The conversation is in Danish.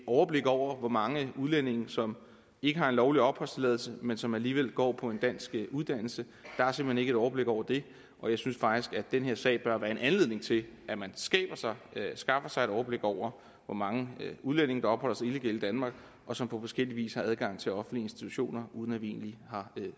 overblik over hvor mange udlændinge som ikke har en lovlig opholdstilladelse men som alligevel går på en dansk uddannelse der er simpelt overblik over det og jeg synes faktisk at den her sag bør være en anledning til at man skaffer sig et overblik over hvor mange udlændinge der opholder sig illegalt i danmark og som på forskellig vis har adgang til offentlige institutioner uden at vi egentlig har